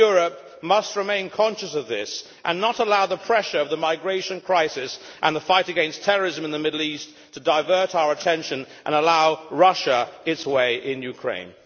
We in Europe must remain conscious of this, and not let the pressure of the migration crisis and the fight against terrorism in the Middle East divert our attention and allow Russia its way in Ukraine.